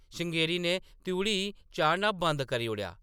श्रृंगेरी ने त्रिउढ़ी चाढ़ना बंद करी ओड़ेआ ।